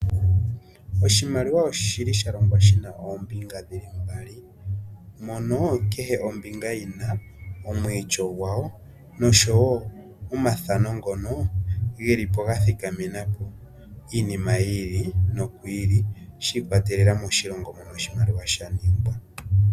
Oshimaliwa oshili sha longwa shina oombinga dhili mbali mono kehe ombinga yina omwiityo gwayo noshowo omathano ngono gelipo ga thikamena po iinima yiili nokwiili shiikwatelela moshilongo mono oshimaliwa sha ningwa.